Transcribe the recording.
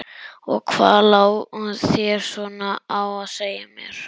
Og hvað lá þér svona á að segja mér?